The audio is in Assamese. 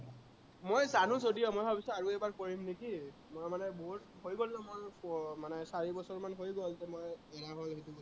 মই জানো যদিও মই ভাবিছো আৰু এবাৰ কৰিম নেকি, মই মানে মোৰ হৈ গল ন মোৰ আহ মানে চাৰি বছৰমান হৈ গল ত মই